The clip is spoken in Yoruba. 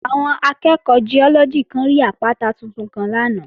Àwọn akẹ́ẹ̀kọ́ Giọ́lọ́gì kan rí àpáta tuntun kan lánàá